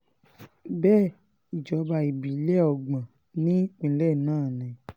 bẹ́ẹ̀ ìjọba ìbílẹ̀ ọgbọ́n ní ìpínlẹ̀ náà ni